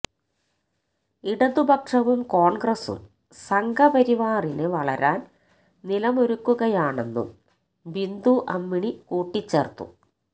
ഇടതുപക്ഷവും കോണ്ഗ്രസും സംഘപരിവാറിന് വളരാന് നിലമൊരുക്കുകയാണെന്നും ബിന്ദു അമ്മിണി കൂട്ടിച്ചേര്ത്തു